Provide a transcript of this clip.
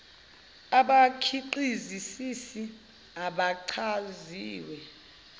abakhiqizi sisi abachaziwe